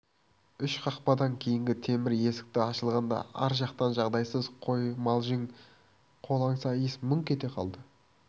үш қақпадан кейінгі темір есік ашылғанда ар жақтан жағдайсыз қоймалжың қолаңса иіс мүңк ете қалды